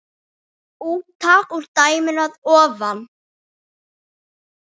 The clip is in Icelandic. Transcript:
Úttak úr dæminu að ofan